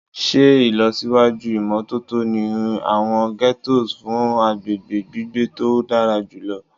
Ṣe ilọsiwaju imototo ni awọn ghettos fun agbegbe gbigbe to dara julọ